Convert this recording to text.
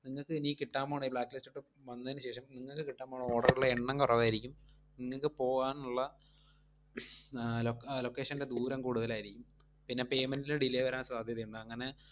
നിങ്ങക്ക് ഇനി കിട്ടാൻ പോണെ ഈ blacklist ഒക്കെ വന്നേനുശേഷം നിങ്ങക്ക് കിട്ടാൻ പോണ order ഇലെ എണ്ണം കൊറവായിരിക്കും, നിങ്ങക്ക് പോവാനുള്ള location ൻറെ ദൂരം കൂടുതലായിരിക്കും, പിന്നെ payment ൽ delay വരാൻ സാധ്യതയുണ്ട്, അങ്ങനെ